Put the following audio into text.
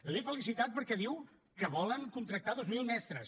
l’he felicitat perquè diu que volen contractar dos mil mestres